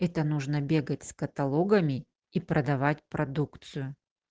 это нужно бегать с каталогами и продавать продукцию